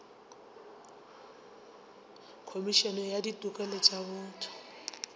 khomišene ya ditokelo tša botho